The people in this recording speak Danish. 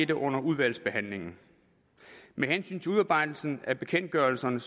det under udvalgsbehandlingen med hensyn til udarbejdelsen af bekendtgørelserne